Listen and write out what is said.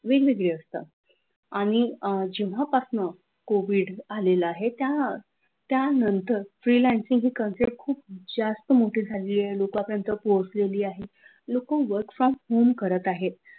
वेगवेगळे असतात आणि अह जेव्हा पासन covid आलेला आहे त्यानंतर freelancing ही concept जास्त मोठी झालेली आहे लोकांपर्यंत पोहोचले आहे लोक work from home करत आहे